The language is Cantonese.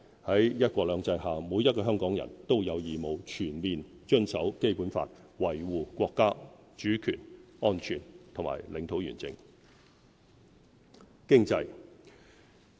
在"一國兩制"下，每一個香港人都有義務全面遵守《基本法》，維護國家主權、安全和領土完整。